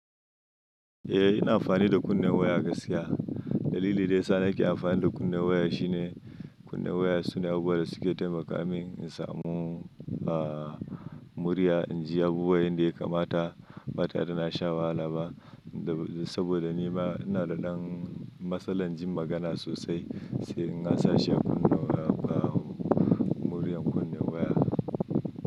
Eh ina amfani da kunnen waya gaskiya. Dalili da ya sa nake amfani da kunne waya shine kunne waya sune abu da suke taimaka min in samu, ah, murya in ji abubuwan yanda ya kamata, bata re da na sha wahala ba. Saboda ni ma ina da ɗan matsalar jin magana sosai, sai in nasa shi a kunnen waya, ah, muryan kunne waya.